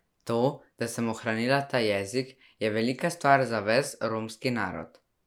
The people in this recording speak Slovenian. To, da sem ohranila ta jezik, je velika stvar za ves romski narod.